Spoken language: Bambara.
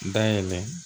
Dayɛlɛ